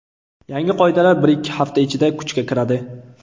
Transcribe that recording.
Yangi qoidalar bir-ikki hafta ichida kuchga kiradi.